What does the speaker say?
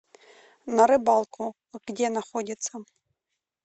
на рыбалку где находится